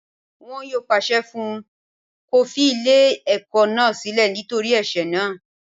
Wọn yóò pàṣẹ fún un kó fi ilé ẹ̀kọ́ náà sílẹ̀ nítorí ẹ̀sẹ̀ náà